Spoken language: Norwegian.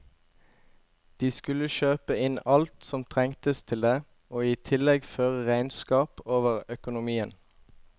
De skulle kjøpe inn alt som trengtes til det, og i tillegg føre regnskap over økonomien.